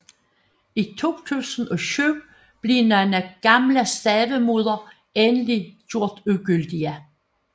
I 2007 blev nogle gamle stavemåder endelig gjort ugyldige